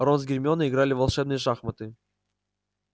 рон с гермионой играли в волшебные шахматы